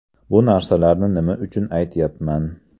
Bu narsalarni nima uchun aytyapman?